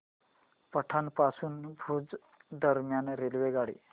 पाटण पासून भुज दरम्यान रेल्वेगाडी